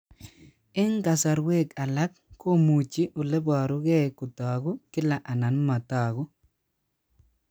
Eng' kasarwek alak komuchi ole parukei kotag'u kila anan matag'u